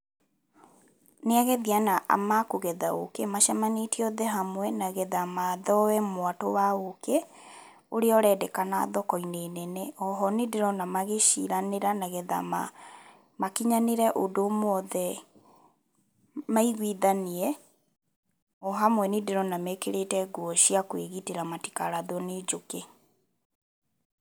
Nĩ agethi ana ma kũgetha ũkĩ macemanĩtie hamwe nĩgetha mathoe mwatũ wa ũkĩ ũrĩa ũrendekana thoko-inĩ nene. Oho nĩ ndĩrona magĩciranĩra nĩgetha ma makĩnyanĩre ũndũ ũmwe othe maiguithanie. O hamwe nĩ ndĩrona mekĩrĩte nguo cia kwĩgitĩra matikarathwo nĩ njũkĩ.